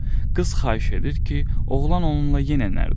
Qız xahiş edir ki, oğlan onunla yenə nərd oynasın.